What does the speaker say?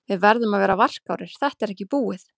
Við verðum að vera varkárir, þetta er ekki búið.